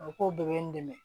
A bɛ k'o de bɛ n dɛmɛ